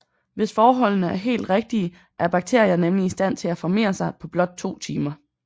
Hvis forholdene er helt rigtige er bakterier nemlig i stand til at formere sig på blot to timer